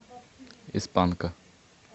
из панка